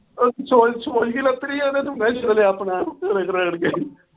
ਉਹ ਸੋਜ ਸੋਜ ਕਿਵੇਂ ਉਤਰੀ ਆ